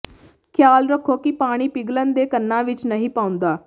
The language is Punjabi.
ਖਿਆਲ ਰੱਖੋ ਕਿ ਪਾਣੀ ਪਿਘਲਣ ਦੇ ਕੰਨਾਂ ਵਿਚ ਨਹੀਂ ਪਾਉਂਦਾ